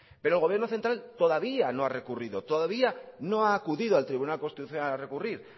pero el gobierno central todavía no ha recurrido todavía no ha acudido al tribunal constitucional a recurrir